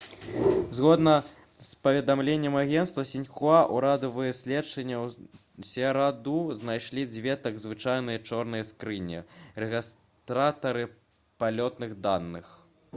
згодна з паведамленнем агенцтва «сіньхуа» урадавыя следчыя ў сераду знайшлі дзве так званыя «чорныя скрыні» — рэгістратары палётных даных